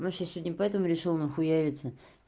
ну всё сегодня поэтому решил нахуяриться